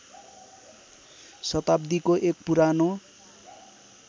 शताब्दीको एक पुरानो